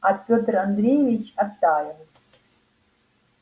и петр андреевич оттаял